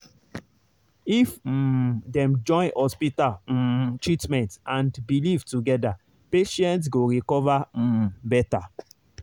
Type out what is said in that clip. if um dem join hospital um treatment and belief together patients go recover um better.